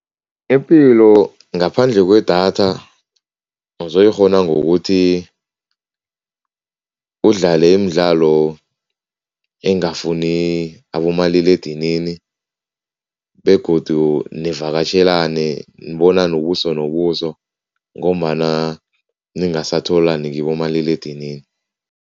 Ipilo ngaphandle kwedatha uzoyikghona ngokuthi udlale imidlalo engafuni abomaliledinini begodu nivakatjhelane, nibonane ubuso nobuso ngombana ningasatholani kibomaliledinini.